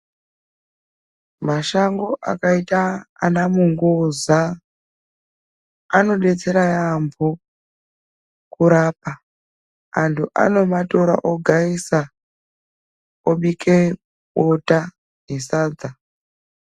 Mashango akaita ana mungoza anodetsera yamho kurapa antu anomatora ogaisa obike bota nesadza.